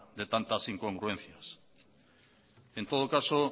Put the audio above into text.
de tantas incongruencias en todo caso